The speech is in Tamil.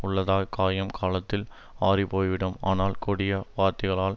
உள்ளத்தக் காயம் காலத்தில் ஆறிப்போய்விடும் ஆனால் கொடிய வார்த்தைகளால்